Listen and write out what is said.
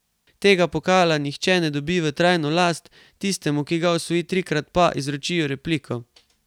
Tega pokala nihče ne dobi v trajno last, tistemu, ki ga osvoji trikrat, pa izročijo repliko.